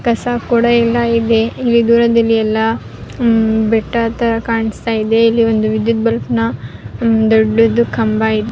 ಕಸ ಕೊಳೆ ಎಲ್ಲ ಇದೆ ಇಲ್ಲಿ ದೂರದಲ್ಲಿ ಎಲ್ಲ ಬೆಟ್ಟ ತರ ಕಾಣಿಸ್ತಾ ಇದೆ ಇಲ್ಲಿ ಒಂದು ವಿದ್ಯುತ್ ಬಲ್ಪ್ ನ ದೊಡ್ಡದು ಕಂಬ ಇದೆ-